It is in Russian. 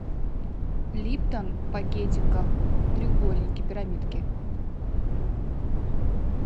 липтон в пакетиках треугольники пирамидки